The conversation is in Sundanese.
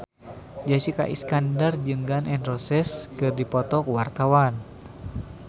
Jessica Iskandar jeung Gun N Roses keur dipoto ku wartawan